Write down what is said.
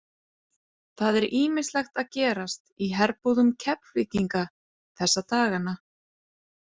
Það er ýmislegt að gerast í herbúðum Keflvíkinga þessa dagana.